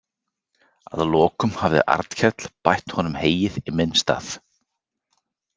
Að lokum hafði Arnkell bætt honum heyin í minn stað.